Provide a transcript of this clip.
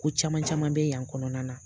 Ko caman caman bɛ yan kɔnɔna na.